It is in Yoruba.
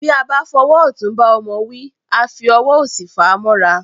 Bí a bá fọwọ́ ọ̀tún bá ọmọ wí, a fi ọwọ́ òsì fàá mọ́ra